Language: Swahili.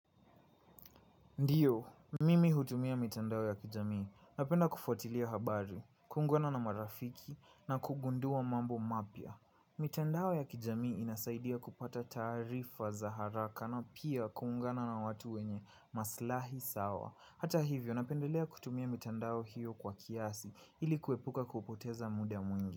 Ndiyo, mimi hutumia mitandao ya kijamii, napenda kufuatilia habari, kuungana na marafiki na kugundua mambo mapya. Mitandao ya kijamii inasaidia kupata taarifa za haraka na pia kuungana na watu wenye maslahi sawa. Hata hivyo, napendelea kutumia mitandao hiyo kwa kiasi ili kuepuka kupoteza muda mwingi.